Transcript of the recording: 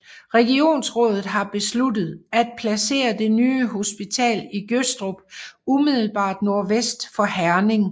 Regionsrådet har besluttet at placere det nye hospital i Gødstrup umiddelbart nordvest for Herning